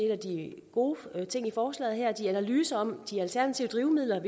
af de gode ting i forslaget her i de analyser om de alternative drivmidler jo